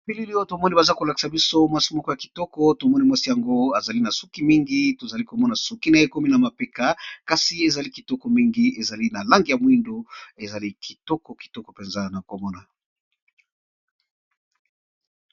Bilili oyo tomoni baza ko lakisa biso mwasi moko ya kitoko tomoni mwasi yango azali na suki mingi, tozali komona suki na ye ekomi na mapeka kasi ezali kitoko mingi ezali na langi ya mwindu ezali kitoko kitoko mpenza na komona.